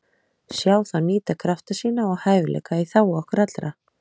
Sjá þá nýta krafta sína og hæfileika í þágu okkar allra.